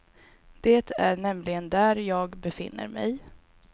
Det är nämligen där jag befinner mig.